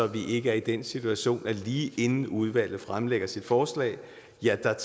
vi ikke er i den situation at man lige inden udvalget fremlægger sit forslag